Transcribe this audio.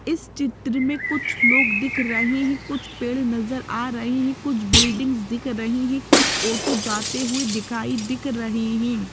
इस चित्र में कुछ लोग दिख रहे हैं कुछ पेड़ नज़र आ रहे हैं कुछ बिल्डिंग्स दिख रही हैं कुछ ऑटो जाते हुए दिखाई दिख रहे हैं।